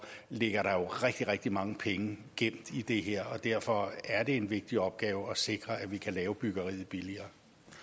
ligger der jo rigtig rigtig mange penge gemt i det her og derfor er det en vigtig opgave at sikre at vi kan lave byggeriet billigere